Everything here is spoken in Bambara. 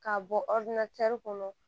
K'a bɔ kɔnɔ